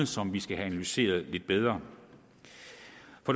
som vi skal analysere lidt bedre